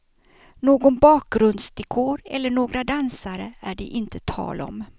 Någon bakgrundsdekor eller några dansare är det inte tal om.